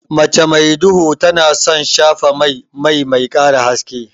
Mace mai duhu tana son shafa mai, mai ƙara haske.